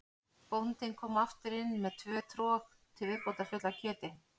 Bóndinn kom aftur inn með tvö trog til viðbótar full af kjöti.